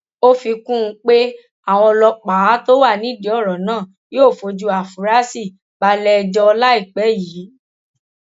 ó fi kún un pé àwọn ọlọpàá tó wà nídìí ọrọ náà yóò fojú àfúrásì balẹẹjọ láìpẹ yìí